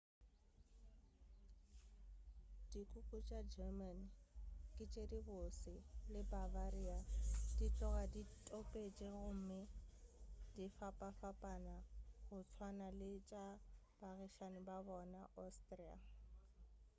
dikuku tša german ke tše di bose le bavaria di tloga di topetše gomme di fapafapana go tswana le tša baagišane ba bona austria